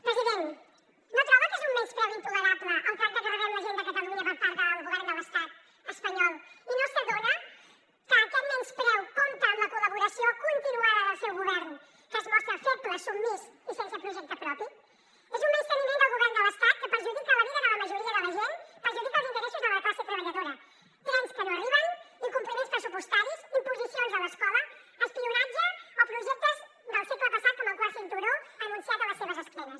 president no troba que és un menyspreu intolerable el tracte que rebem la gent de catalunya per part del govern de l’estat espanyol i no s’adona que aquest menyspreu compta amb la col·laboració continuada del seu govern que es mostra feble submís i sense projecte propi és un menysteniment del govern de l’estat que perjudica la vida de la majoria de la gent perjudica els interessos de la classe treballadora trens que no arriben incompliments pressupostaris imposicions a l’escola espionatge o projectes del segle passat com el quart cinturó anunciat a les seves esquenes